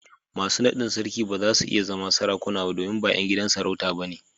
Masu naɗin sarki ba za su iya zama Sarakuna ba domin ba ’yan gidan sarauta ba ne.